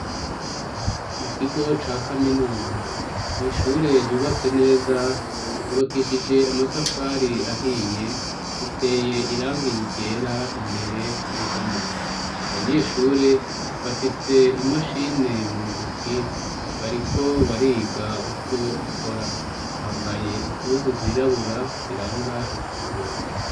Mu kigo ca kaminuza, mw'ishure ryubatse neza ryubakishije amatafari ahiye iteye irangi ryera imbere ku ruhome, abanyeshure bafise imashini mu ntoke bariko bariga uko ikora, bambaye impuzu zirabura ziranga ikigo.